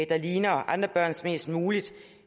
der ligner andre børns mest muligt